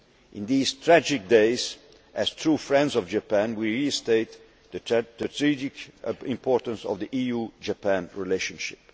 we can. In these tragic days, as true friends of Japan, we reiterate the strategic importance of the EU Japan relationship.